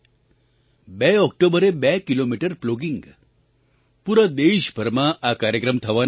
બે ઑક્ટોબરે બે કિલોમીટર પ્લોગિંગ પૂરા દેશભરમાં આ કાર્યક્રમ થવાના છે